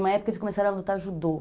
Uma época, eles começaram a lutar judô.